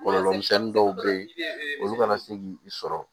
Kɔlɔlɔ misɛnnin dɔw be ye olu kana se k'i sɔrɔ